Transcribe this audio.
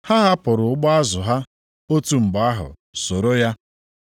Ha hapụrụ ụgbụ azụ ha otu mgbe ahụ soro ya.